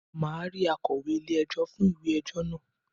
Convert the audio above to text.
Màá ri akọ̀wé ilé ẹjọ́ fún ìwé ẹjọ́ náà